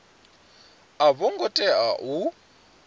a vho ngo tea u